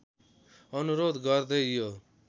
अनुरोध गर्दै यो